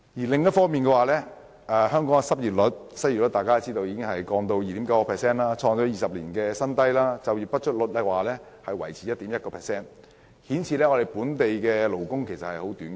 同時，香港的失業率降至 2.9%， 創20年來新低；就業不足率也維持在 1.1% 水平，顯示本地勞工嚴重短缺。